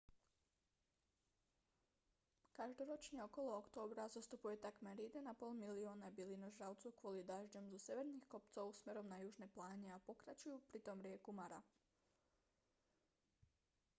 každoročne okolo októbra zostupuje takmer 1,5 milióna bylinožravcov kvôli dažďom zo severných kopcov smerom na južné pláne a prekračujú pritom rieku mara